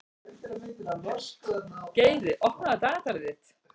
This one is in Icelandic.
Geiri, opnaðu dagatalið mitt.